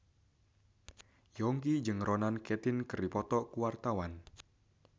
Yongki jeung Ronan Keating keur dipoto ku wartawan